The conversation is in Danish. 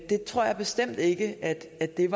det er